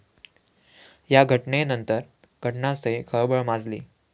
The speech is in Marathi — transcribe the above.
या घटनेनंतर घटनास्थळी खळबळ माजली.